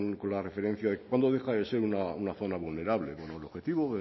con la referencia de cuándo deja de ser una zona vulnerable bueno el objetivo